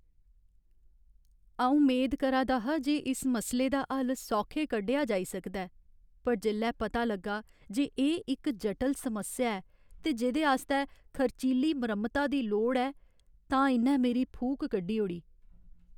अऊं मेद करा दा हा जे इस मसले दा हल्ल सौखे कड्ढेआ जाई सकदा ऐ पर जेल्लै पता लग्गा जे एह् इक जटल समस्या ऐ ते जेह्दे आस्तै खर्चीली मरम्मता दी लोड़ ऐ तां इ'न्नै मेरी फूक कड्ढी ओड़ी ।